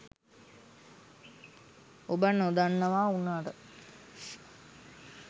ඔබ නොදන්නවා උනාට